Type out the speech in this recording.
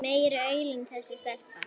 Meiri aulinn þessi stelpa.